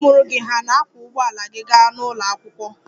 Ndị mụrụ gị hà na-akwọ ụgbọala gị gaa ụlọ akwụkwọ?